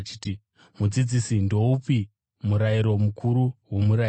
“Mudzidzisi, ndoupi murayiro mukuru muMurayiro?”